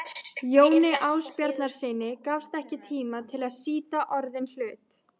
Jóni Ásbjarnarsyni gafst ekki tími til að sýta orðinn hlut.